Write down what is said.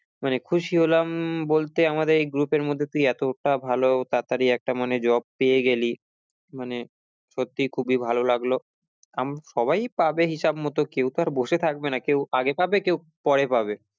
মানে খুশি হলাম বলতে আমাদের এই group এর মধ্যে তুই এতটা ভালো তাড়াতাড়ি একটা মানে job পেয়ে গেলি মানে সত্যি খুবই ভালো লাগলো আম~ সবাই পাবে হিসেব মতো কেও তো আর বসে থাকবে না, কেও আগে পাবে কেও পরে পাবে